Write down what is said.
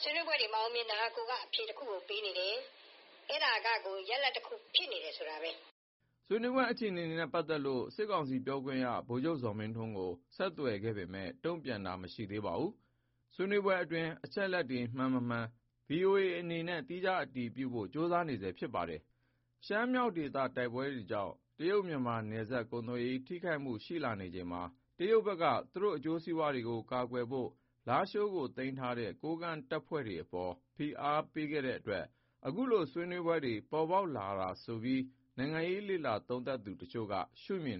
ဆွေးနွေးပွဲတွေမအောင်မြင်တာက အဖြေတခုကိုပေးနေတယ်။ အဲဒါကကိုရလဒ်တခုဖြစ်နေတယ် ဆိုတာပါပဲ။" ဆွေးနွေးပွဲအခြေအနေနဲ့ပတ်သက်လို့ စစ်ကောင်စီပြောခွင့်ရ ဗိုလ်ချုပ်ဇော်မင်းထွန်းကို ဆက်သွယ်မေးမြန်းခဲ့ပေမဲ့ တုံ့ပြန်တာ မရှိခဲ့ပါဘူး။ ဆွေးနွေးပွဲအတွင်းက အချက်အလက်တွေ မှန်မမှန်ကို VOA အနေနဲ့ သီးခြားအတည်ပြုရဖို့ ကြိုးစားနေဆဲဖြစ်ပါတယ်။ ရှမ်းမြောက်ဒေသ တိုက်ပွဲတွေကြောင့် တရုတ်-မြန်မာ နယ်စပ်ကုန်သွယ်ရေး ထိခိုက်မှုတွေ ရှိနေချိန်မှာ တရုတ်ဘက်က သူတို့ အကျိုးစီးပွားတွေကို ကာကွယ်နိုင်ဖို့ လားရှိုးကို သိမ်းထားတဲ့ ကိုးကန့်တပ်တွေအပေါ် ဖိအားပေးခဲ့တဲ့အတွက် အခုလို ဆွေးနွေးပွဲတွေ ပေါ်ပေါက်လာတာဆိုပြီး နိုင်ငံရေး လေ့လာသုံးသပ်သူ တချို့ကလည်း ရှုမြင်